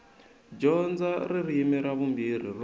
dyondza ririmi ra vumbirhi ro